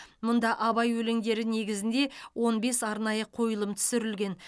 мұнда абай өлеңдері негізінде он бес арнайы қойылым түсірілген